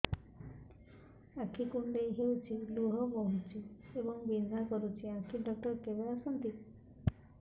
ଆଖି କୁଣ୍ଡେଇ ହେଉଛି ଲୁହ ବହୁଛି ଏବଂ ବିନ୍ଧା କରୁଛି ଆଖି ଡକ୍ଟର କେବେ ଆସନ୍ତି